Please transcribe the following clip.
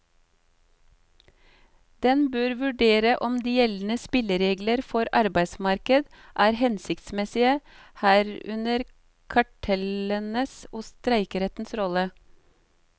Den bør vurdere om de gjeldende spilleregler for arbeidsmarkedet er hensiktsmessige, herunder kartellenes og streikerettens rolle.